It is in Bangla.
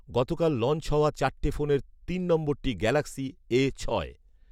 গতকাল লঞ্চ হওয়া চারটি ফোনের তিন নম্বরটি গ্যালাক্সি এ ছয়